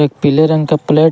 एक पीले रंग का प्लेट --